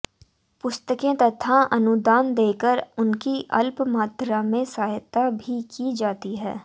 पुस्तकें तथा अनुदान देकर उनकी अल्प मात्रा में सहायता भी की जाती है